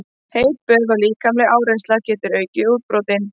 Heit böð og líkamleg áreynsla geta aukið útbrotin.